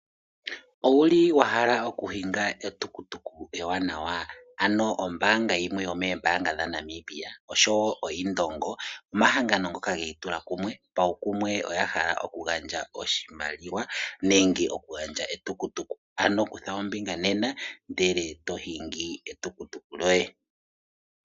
Owuli wahala okuhinga ohauto ombwanawa ano ombanga yimwe yomoombanga dhaNamibia osho woo oIndongo omahangano ngoka ga itula kumwe paukumwe oga hala okugandja oshimaliwa nenge ohauto ano kutha ombinga nena ndele toshingi oshitukutuku shoye.